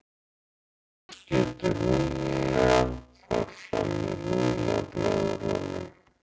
Loftskipti lungnanna fara fram í lungnablöðrunum.